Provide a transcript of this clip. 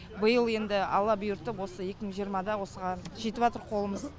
биыл енді алла бұйыртып осы екі мың жиырмада осыған жетіватыр қолымыз